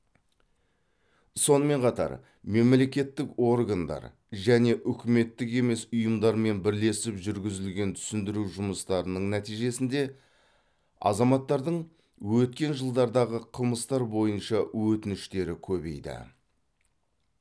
сонымен қатар мемлекеттік органдар және үкіметтік емес ұйымдармен бірлесіп жүргізілген түсіндіру жұмыстарының нәтижесінде азаматтардың өткен жылдардағы қылмыстар бойынша өтініштері көбейді